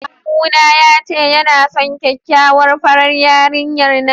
Kawuna ya ce yana son kyakkyawar farar yarinyar nan.